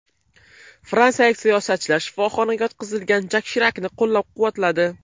Fransiyalik siyosatchilar shifoxonaga yotqizilgan Jak Shirakni qo‘llab-quvvatladi.